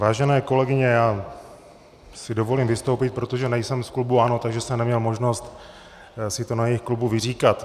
Vážené kolegyně, já si dovolím vystoupit, protože nejsem z klubu ANO, takže jsem neměl možnost si to na jejich klubu vyříkat.